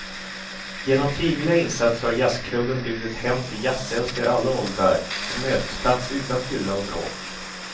Genom frivilliga insatser har jazzklubben blivit ett hem för jazzälskare i alla åldrar, en mötesplats utan fylla och bråk.